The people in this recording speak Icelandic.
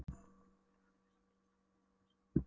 Lögfylgjur samtímastofnunar eru einnig þær sömu og endranær.